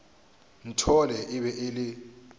nthole e be e le